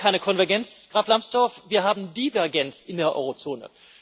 Wir haben keine Konvergenz, Graf Lambsdorff, wir haben Divergenz in der Eurozone.